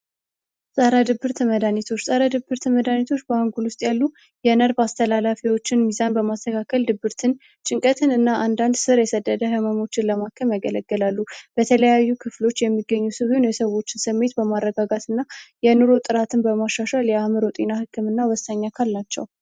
ጻራ ድብር ተመዳኒቶች ጻራ ድብር ተመዳኒቶች በአንጉል ውስጥ ያሉ የነርብ አስተላላፊዎችን ሚዛን በማስተካከል ድብርትን ጭንቀትን እና አንዳንድ ሥር የሰደደ ሕመሞችን ለማከም ያገለገላሉ በተለያዩ ክፍሎች የሚገኙ ስቢን የሰቦችን ሰሜት በማረጋጋት እና የኑሮ ጥራትን በማሻሻል የአምሮ ጤና ሕክም እና ወሳኛካል ናቸው